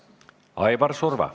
Aivar Surva.